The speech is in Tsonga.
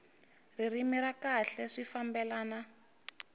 ririmi ra kahle swi fambelana